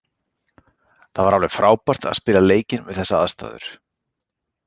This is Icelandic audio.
Það var alveg frábært að spila leikinn við þessar aðstæður.